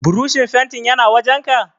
Burushin fentin yana wajenka?